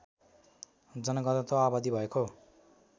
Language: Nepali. जनघनत्व आबादी भएको